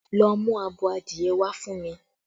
Go and get me a fowl!